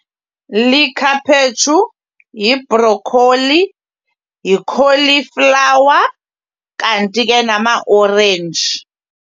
Likhaphetshu, yibrokholi, yikholiflawa kanti ke namaorenji.